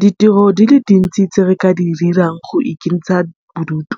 Ditiro di le dintsi tse re ka di dirang go ikentsha bodutu,